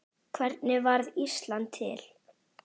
Hvernig varð Ísland til?